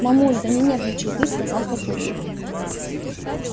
мамуль да не нервничай ты сказал папулька